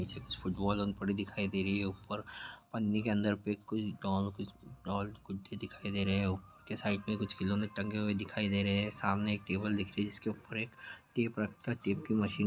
पीछे कुछ दिखाई दे रही हैं ऊपर पन्नी के अंदर में दिखाई दे रही हैं और उसके साइड में कुछ खिलौने टंगे हुए दिखाई दे रहे हैं सामने एक टेबल दिखाई दे रही हैं जिसके उपर टेप रखा हैं टेप के मशीन --